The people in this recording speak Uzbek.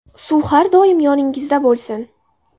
Suv har doim yoningizda bo‘lsin!